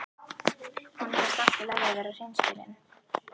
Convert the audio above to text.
Honum finnst allt í lagi að vera hreinskilinn.